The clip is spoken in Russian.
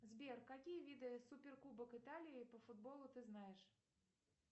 сбер какие виды супер кубок италии по футболу ты знаешь